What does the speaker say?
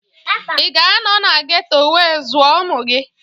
Ị ga-anọ na geto wee zụọ ụmụ gị?